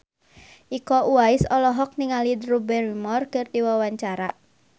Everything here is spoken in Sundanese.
Iko Uwais olohok ningali Drew Barrymore keur diwawancara